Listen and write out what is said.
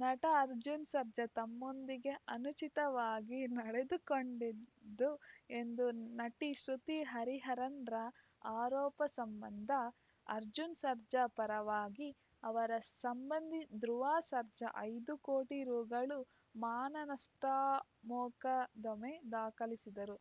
ನಟ ಅರ್ಜುನ್‌ ಸರ್ಜಾ ತಮ್ಮೊಂದಿಗೆ ಅನುಚಿತವಾಗಿ ನಡೆದುಕೊಂಡಿದ್ದು ಎಂದು ನಟಿ ಶ್ರುತಿ ಹರಿಹರನ್‌ರ ಆರೋಪ ಸಂಬಂಧ ಅರ್ಜುನ್‌ ಸರ್ಜಾ ಪರವಾಗಿ ಅವರ ಸಂಬಂಧಿ ಧ್ರುವ ಸರ್ಜಾ ಐದು ಕೋಟಿ ರುಗಳ ಮಾನನಷ್ಟಮೊಕದ್ದಮೆ ದಾಖಲಿಸಿದ್ದರು